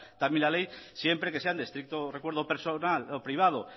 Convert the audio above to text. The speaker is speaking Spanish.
también la ley siempre que sean de estricto recuerdo personal o privado